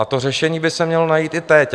A to řešení by se mělo najít i teď.